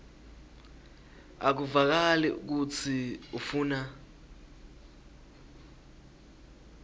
akuvakali kutsi ufuna